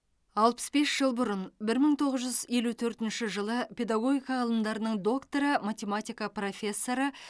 алпыс бес жыл бұрын бір мың тоғыз жүз елу төртінші жылы педагогика ғылымдарының докторы математика профессоры